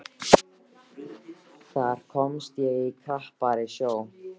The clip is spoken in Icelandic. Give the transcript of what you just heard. Þar komst ég í krappari sjó.